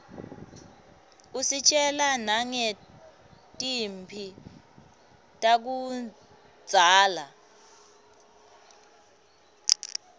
usitjela nangetimphi takudzala